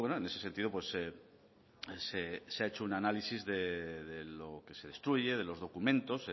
en ese sentido se ha hecho un análisis de lo que se destruye de los documentos